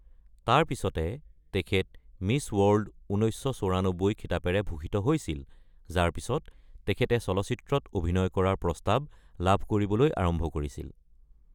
তাৰ পিছতে তেখেত মিচ্ ৱৰ্ল্ড ১৯৯৪ খিতাপেৰে ভূষিত হৈছিল, যাৰ পিছত তেখেতে চলচিত্ৰত অভিনয় কৰাৰ প্ৰস্তাৱ লাভ কৰিবলৈ আৰম্ভ কৰিছিল।